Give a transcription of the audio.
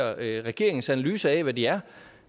regeringens analyse af hvad de er